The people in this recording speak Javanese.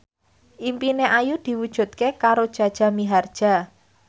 impine Ayu diwujudke karo Jaja Mihardja